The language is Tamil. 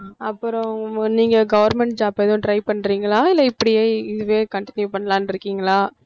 அப்புறம் நீங்க government job ஏதும் try பண்றீங்களா இல்ல இப்படியே இதுவே continue பண்ணலாம்னுருக்கீங்களா?